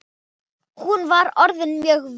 Hún var orðin mjög veik.